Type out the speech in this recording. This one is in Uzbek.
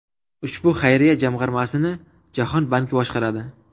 Ushbu xayriya jamg‘armasini Jahon banki boshqaradi.